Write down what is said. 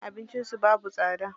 Abincin su babu tsada.